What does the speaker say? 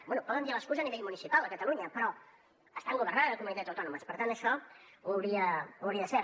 bé poden dir l’excusa a nivell municipal a catalunya però estan governant a comunitats autònomes per tant això ho hauria de saber